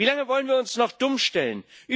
Wie lange wollen wir uns noch dumm stellen?